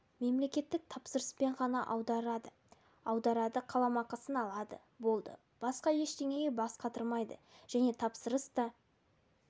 мемлекеттік тапсырыспен ғана аударады аударады қаламақысын алады болды басқа ештеңеге бас қатырмайды және тапсырыс та